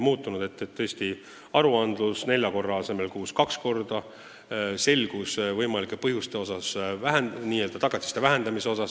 Aruanded tuleb esitada nelja korra asemel kuus kaks korda, selgemad on võimalikud põhjused tagatiste vähendamiseks.